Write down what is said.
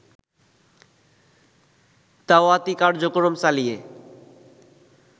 দাওয়াতি কার্যক্রম চালিয়ে